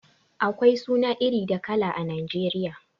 Akwai suna iri da kala a Nijeriya